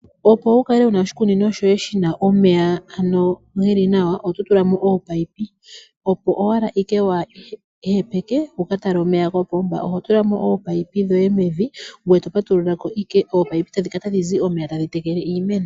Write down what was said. Opo wu kale wu na oshikunino shoye shi na omeya ge li nawa, oto tula mo oopayipi, opo owala waa ihepeke wu ka tale omeya kopomba. Oho tula mo oopayipi dhoye mevi, ngoye to patulula ko, oopayipi tadhi kala tadhi zi omeya tadhi tekele iimeno.